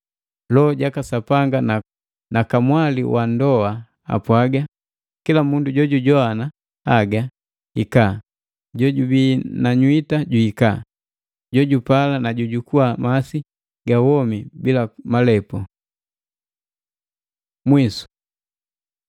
Loho jaka Sapanga na Kamwali wa ndoa apwagaa, kila mundu jojujowana haga, “Hika!” Jojubi na nywita juhika. Jojupala, na ju jukuha masi ga womi bila malepu. Mwisu